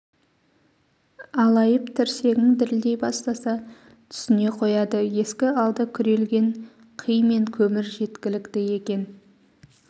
алайып тірсегің дірілдей бастаса түсіне қояды ескі алды күрелген қи мен көмір жеткілікті екен